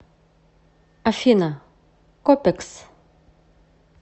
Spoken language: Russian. афина копекс